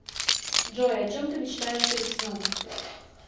джой о чем ты мечтаешь перед сном